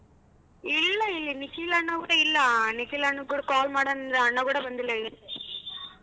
ಇಲ್ಲ ಇಲ್ಲಿ ನಿಖಿಲ್ ಅಣ್ಣ ಕೂಡ ಇಲ್ಲ ನಿಖಿಲ್ ಅಣ್ಣ ಕೂಡ call ಮಾಡಣಾಂದ್ರೆ ಅಣ್ಣ ಕೂಡ ಬಂದಿಲ್ಲ ಇವತ್ತು.